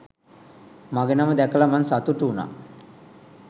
මගෙ නම දැකල මං සතුටු උනා